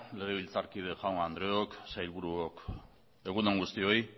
legebiltzarkide jaun andreok sailburuok egun on guztioi